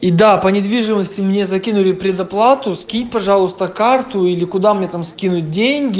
и да по недвижимости мне закинули предоплату скинь пожалуйста карту или куда мне там скинуть деньги